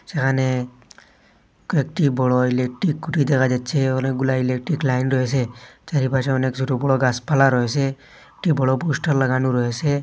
যেখানে কয়েকটি বড় ইলেকট্রিক খুটি দেখা যাচ্ছে অনেকগুলা ইলেকট্রিক লাইন রয়েসে চারিপাশে অনেক ছোট বড় গাসপালা রয়েসে একটি বড় পোস্টার লাগানো রয়েসে।